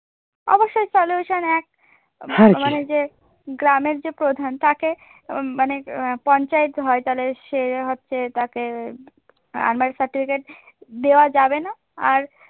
হ্যাঁ, solution মানে যে গ্রামের যে প্রধান তাকে মানে পঞ্চায়ত হয় তাহলে সে হচ্ছে তাকে unmarried certificate দেওয়া যাবেনা আর